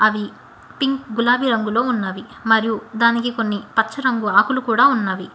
అవి పింక్ గులాబి రంగులో ఉన్నవి మరియు దానికి కొన్ని పచ్చ రంగు ఆకులు కూడ ఉన్నవి.